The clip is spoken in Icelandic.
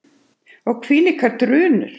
Og hvílíkar drunur!